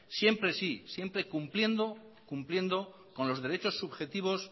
siempre sí siempre cumpliendo con los derechos subjetivos